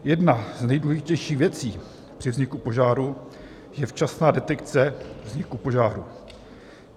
Jedna z nejdůležitějších věcí při vzniku požáru je včasná detekce vzniku požáru.